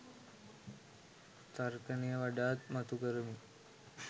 තර්කනය වඩාත් මතු කරමින්